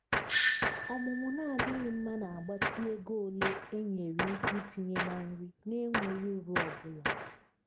ọmụmụ na-adịghị mma na-agbatị ego ole enyere ike itinye na nri na-enweghị uru ọ bụla.